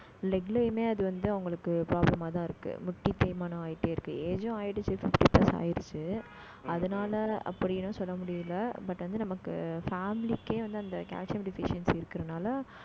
leg லயுமே அது வந்து, அவங்களுக்கு problem ஆதான் இருக்கு. முட்டி தேய்மானம் ஆயிட்டே இருக்கு. age உம் ஆயிடுச்சு fifty plus ஆயிடுச்சு அதனால அப்படின்னும் சொல்ல முடியலை. but வந்து, நமக்கு family க்கே வந்து, அந்த calcium deficiency இருக்கறதுனால